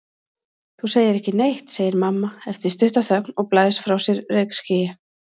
Þú segir ekki neitt, segir mamma eftir stutta þögn og blæs frá sér reykskýi.